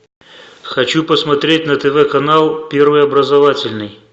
хочу посмотреть на тв канал первый образовательный